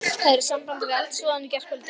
Það er í sambandi við eldsvoðann í gærkvöldi.